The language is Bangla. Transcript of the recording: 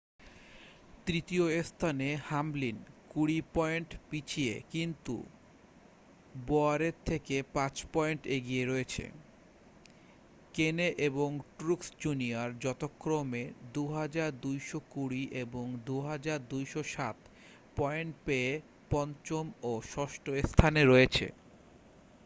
তৃতীয় স্থানে হামলিন কুড়ি পয়েন্ট পিছিয়ে কিন্তু বোওয়ারের থেকে পাঁচ পয়েন্ট এগিয়ে রয়েছে কেনে এবং ট্রুক্স জুনিয়র যথাক্রমে 2,220 এবং 2,207 পয়েন্ট পেয়ে পঞ্চম ও ষষ্ঠ স্থানে রয়েছে